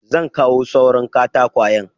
Zan kawo suran katakwayen.